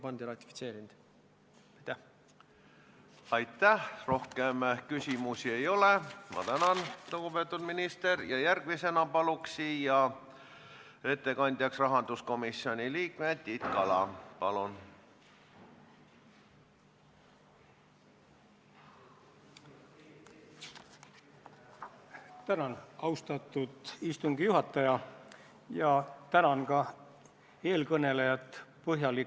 Kui tõesti on selline halb praktika, et midagi on kiireloomuliselt toodud Riigikogu saali nii, et ei ole kaasatud, ja Riigikogu liikmetel, nagu me aru saame, ei ole olnud sisulist võimalust seda küsimust arutada, siis tegelikult oleks ainuvõimalik tõesti see, et juhatus võtaks aja maha ja annaks selle eelnõu komisjonile tagasi.